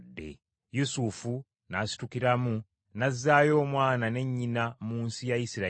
Yusufu n’asitukiramu n’azzaayo Omwana ne nnyina mu nsi ya Isirayiri.